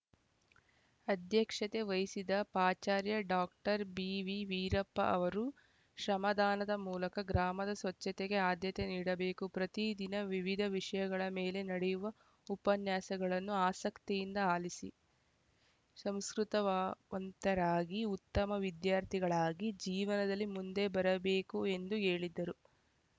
ಅಧ್ಯಕ್ಷತೆ ವಹಿಸಿದ್ದ ಪಾಚಾರ್ಯ ಡಾಕ್ಟರ್ ಬಿವಿ ವೀರಪ್ಪ ಅವರು ಶ್ರಮದಾನದ ಮೂಲಕ ಗ್ರಾಮದ ಸ್ವಚ್ಛತೆಗೆ ಅದ್ಯತೆ ನೀಡಬೇಕು ಪ್ರತಿ ದಿನ ವಿವಿಧ ವಿಷಯಗಳ ಮೇಲೆ ನಡೆಯುವ ಉಪನ್ಯಾಸಗಳನ್ನು ಆಸಕ್ತಿಯಿಂದ ಆಲಿಸಿ ಸಂಸ್ಕೃತವ ವಂತರಾಗಿ ಉತ್ತಮ ವಿದ್ಯಾರ್ಥಿಗಳಾಗಿ ಜೀವನದಲ್ಲಿ ಮುಂದೆ ಬರಬೇಕು ಎಂದು ಹೇಳಿದರು